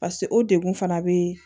pase o degun fana be